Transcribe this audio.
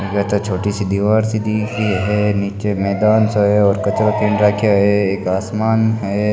छोटी सी दिवार सी दिख री है नीच मैदान सो है और कचरो खिंड राखा है एक आसमान है।